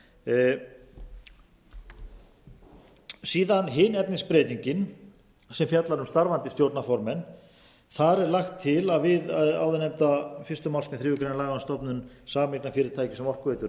síðan er hin efnisbreytingin sem fjallar um starfandi stjórnarformenn þar er lagt til að við áður nefnda fyrstu málsgrein þriðju grein laganna um stofnun sameignarfyrirtækis um orkuveitu